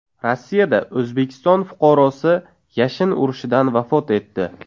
Rossiyada O‘zbekiston fuqarosi yashin urishidan vafot etdi.